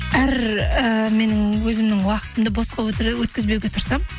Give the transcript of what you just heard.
әр ііі мен өзімнің уақытымды босқа өткізбеуге тырысамын